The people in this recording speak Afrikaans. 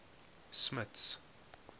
smuts